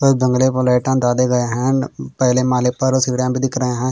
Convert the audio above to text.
कोई दंगले को लेटा दादे गये हैं पहले माले पर सीढियाँ भी दिख रही हैं।